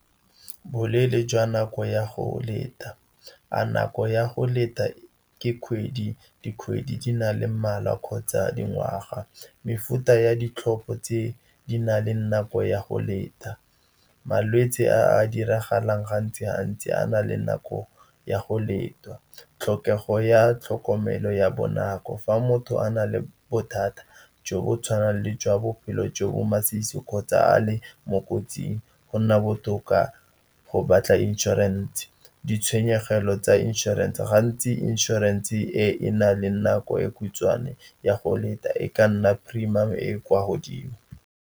Boleele jwa nako ya go leta, a nako ya go leta ke kgwedi, dikgwedi di na le mmalwa kgotsa dingwaga? Mefuta ya ditlhopho tse di na leng nako ya go leta. Malwetse a diragalang gantsi-gantsi a na le nako ya go leta. Tlhokego ya tlhokomelo ya bonako fa motho a na le bothata jo bo tshwanang le jwa bophelo jo bo masisi kgotsa a e mo kotsing, go nna botoka go batla inšorense. Ditshenyegelo tsa inšorense, gantsi inšorense e na le nako e khutshwane ya go leta e ka nna premium-o e e kwa godimo.